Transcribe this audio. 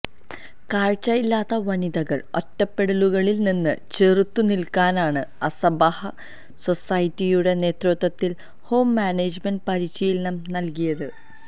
കാഴ്ചയില്ലാത്ത വനിതകൾ ഒറ്റപ്പെടലുകളിൽ നിന്ന് ചെറുത്തു നിൽക്കാനാണ് അസ്സബാഹ് സൊസൈറ്റിയുടെ നേതൃത്വത്തിൽ ഹോം മാനേജ്മെന്റ് പരിശീലനം നൽകിയത്